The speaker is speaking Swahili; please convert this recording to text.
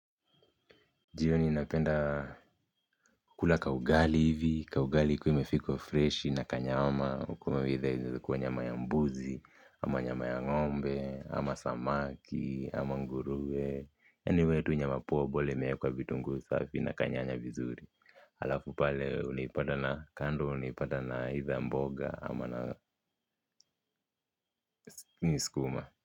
Jioni napenda kula kaugali hivi, kaugali ikue imepikwa freshi na kanyama huku either ikue nyama ya mbuzi ama nyama ya ng'ombe, ama samaki, ama ngurue anyway tu nyama poa bora imewekwa vitunguu safi na kanyanya vizuri halafu pale unaipata na, kando unaipata na aitha mboga, ama na sukuma.